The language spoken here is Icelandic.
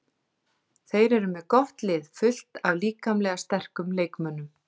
Þeir eru með gott lið, fullt af líkamlega sterkum leikmönnum.